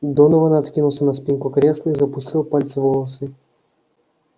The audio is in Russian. донован откинулся на спинку кресла и запустил пальцы в волосы